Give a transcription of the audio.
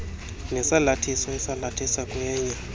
nesalathiso esalathisa kwenye